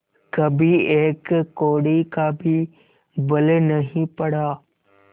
कभी एक कौड़ी का भी बल नहीं पड़ा